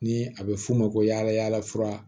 Ni a be f'o ma ko yaala yaala fura